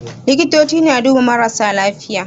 Likitoci suna duba marasa lafiya